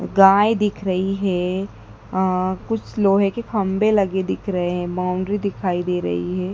गाय दिख रही है आह कुछ लोहे के खम्बे लगे दिख रहे है बाउंड्री दिखाई दे रही है।